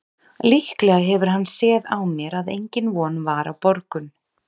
Líklega hefur hann séð á mér að engin von var á borgun.